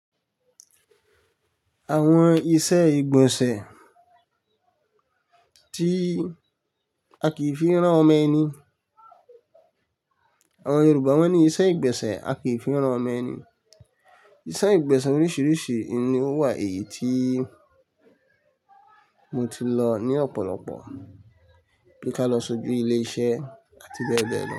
Àwọn ìṣe ìgbọ̀nsẹ̀ tí a kìí fi rán ọmọ ẹni. Àwọn Yorùbá wón ní ìṣe ìgbesẹ̀ a kìí fi rán ọmọ ẹni. Ìṣe ìgbesẹ̀ oríṣiríṣi ni ó wà èyí tí mo ti lọ ní ọ̀pọ̀lọpọ̀ bí ká lọ sójú ilé iṣẹ́ àti bẹ́ẹ̀ bẹ́ẹ̀ lọ.